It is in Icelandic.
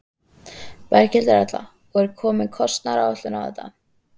Berghildur Erla: Og er komin kostnaðaráætlun á þetta?